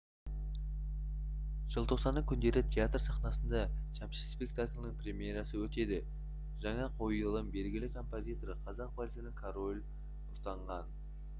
желтоқсанның күндері театр сахнасында шәмші спектакльінің премьерасы өтеді жаңа қойылым белгілі композитор қазақ вальсінің королі атанған